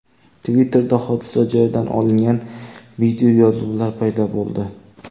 Twitter’da hodisa joyidan olingan videoyozuvlar paydo bo‘ldi.